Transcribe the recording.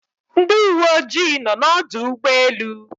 Ndị uwe ojii nọ n'ọdụ ụgbọelu